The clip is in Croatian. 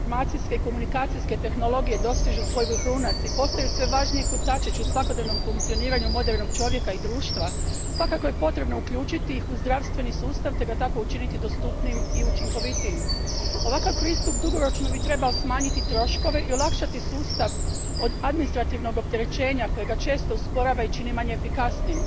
Gospodine predsjedniče, u vremenu u kojem informacijske i komunikacijske tehnologije dostižu svoj vrhunac i postaju sve važniji kotačić u svakodnevnom funkcioniranju modernog čovjeka i društva svakako je potrebno uključiti ih u zdravstveni sustav te ga tako učiniti dostupnijim i učinkovitijim. Ovakav pristup dugoročno bi trebao smanjiti troškove i olakšati sustav od administrativnog opterećenja koje ga često usporava i čini manje efikasnim.